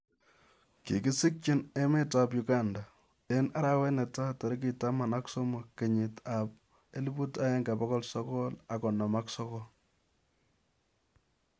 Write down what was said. Kikisikchinii emet ap uganda , eng' arawet netai, tarik taman ak somok, kenyiit 1959